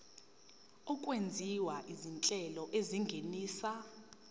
okwenziwa izinhlelo ezingenisa